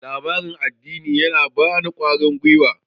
labaran addini ya bani kwarin gwiwa